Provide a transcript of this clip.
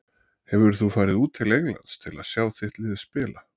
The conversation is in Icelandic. Hefur þú farið út til Englands til að sjá þitt lið spila?